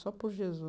Só por